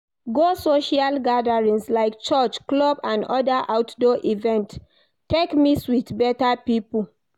Go social gatherings like church, club and other outdoor events take mix with better pipo